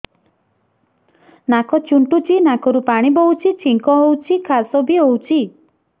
ନାକ ଚୁଣ୍ଟୁଚି ନାକରୁ ପାଣି ବହୁଛି ଛିଙ୍କ ହଉଚି ଖାସ ବି ହଉଚି